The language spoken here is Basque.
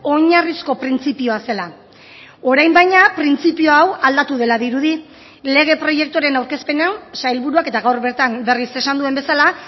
oinarrizko printzipioa zela orain baina printzipio hau aldatu dela dirudi lege proiektuaren aurkezpena sailburuak eta gaur bertan berriz esan duen bezala